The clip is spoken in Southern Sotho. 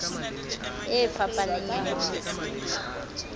e fapaneng ya ho phethola